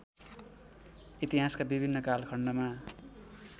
इतिहासका विभिन्न कालखण्डमा